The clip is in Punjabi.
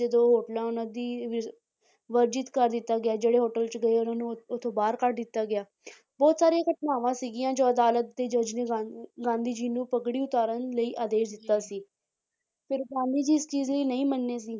ਜਦੋਂ ਹੋਟਲਾਂ ਉਹਨਾਂ ਦੀ ਵ~ ਵਰਜਿਤ ਕਰ ਦਿੱਤਾ ਗਿਆ ਸੀ ਜਿਹੜੇ hotel 'ਚ ਗਏ ਉਹਨਾਂ ਨੂੰ ਉਹ, ਉੱਥੋੋਂ ਬਾਹਰ ਕੱਢ ਦਿੱਤਾ ਗਿਆ ਬਹੁਤ ਸਾਰੀਆਂ ਘਟਨਾਵਾਂ ਸੀਗੀਆਂ ਜਦੋਂ ਅਦਾਲਤ ਦੇ ਜੱਜ ਨੇ ਗਾਂ~ ਗਾਂਧੀ ਜੀ ਨੂੰ ਪੱਗੜੀ ਉਤਾਰਨ ਲਈ ਆਦੇਸ਼ ਦਿੱਤਾ ਸੀ ਫਿਰ ਗਾਂਧੀ ਜੀ ਇਸ ਚੀਜ਼ ਲਈ ਨਹੀਂ ਮੰਨੇ ਸੀ।